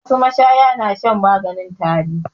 Wasu mashaya na shan maganin tari.